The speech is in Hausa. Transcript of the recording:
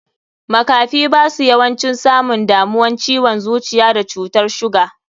Makafi basu yawancin samun damuwan ciwon zuciya da cutar suga.